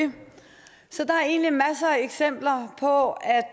eksempler på